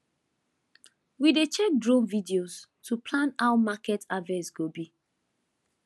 we dey check drone videos to plan how market harvest go be